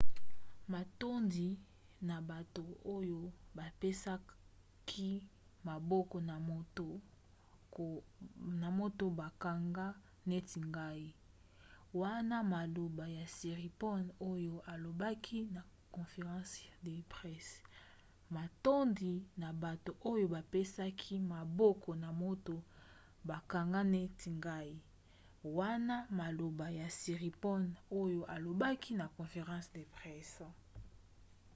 matondi na bato oyo bapesaki maboko na moto bakanga neti ngai wana maloba ya siriporn oyo alobaki na conference de presse